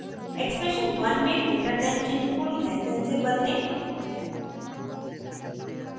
expression 1 में greater than चिन्ह को लैस दैन से बदलें